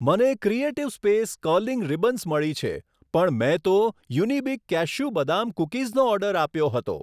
મને creative space curling ribbons મળી છે, પણ મેં તો યુનિબિક કેશ્યુ બદામ કૂકીઝનો ઓર્ડર આપ્યો હતો.